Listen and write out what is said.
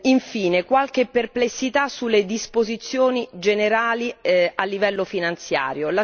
Infine, qualche perplessità sulle disposizioni generali a livello finanziario.